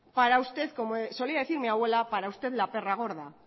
como solía decir mi abuela para usted la perra gorda